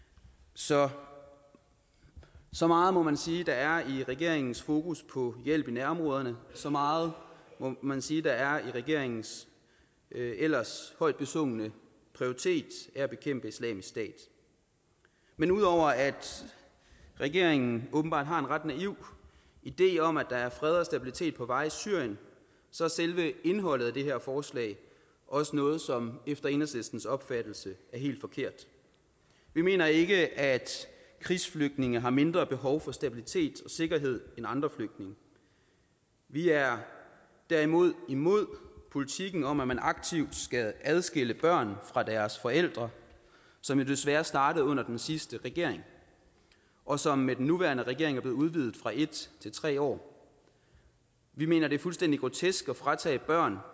så så meget må man sige der er i regeringens fokus på hjælp i nærområderne så meget må man sige der er i regeringens ellers højt besungne prioritet at bekæmpe islamisk stat men ud over at regeringen åbenbart har en ret naiv idé om at der er fred og stabilitet på vej i syrien så er selve indholdet af det her forslag også noget som efter enhedslistens opfattelse er helt forkert vi mener ikke at krigsflygtninge har mindre behov for stabilitet og sikkerhed end andre flygtninge vi er er imod imod politikken om at man aktivt skal adskille børn fra deres forældre som jo desværre startede under den sidste regering og som med den nuværende regering er blev udvidet fra en til tre år vi mener at det er fuldstændig grotesk at fratage børn